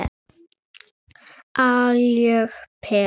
Algjör perla.